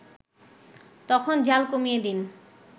তখন জ্বাল কমিয়ে দিন